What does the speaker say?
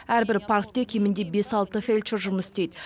әрбір паркте кемінде бес алты фельдшер жұмыс істейді